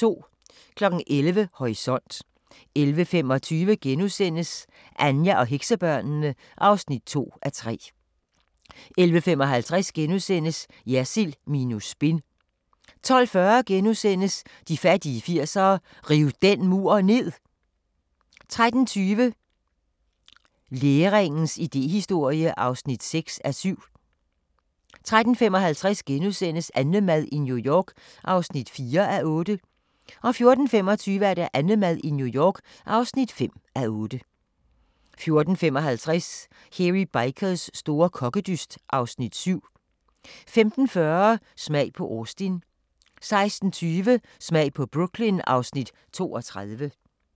11:00: Horisont 11:25: Anja og heksebørnene (2:3)* 11:55: Jersild minus spin * 12:40: De fattige 80'ere: Riv den mur ned! * 13:20: Læringens idéhistorie (6:7) 13:55: AnneMad i New York (4:8)* 14:25: AnneMad i New York (5:8) 14:55: Hairy Bikers store kokkedyst (Afs. 7) 15:40: Smag på Austin 16:20: Smag på Brooklyn (Afs. 32)